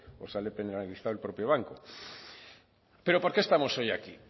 o sale penalizado el propio banco pero por qué estamos hoy aquí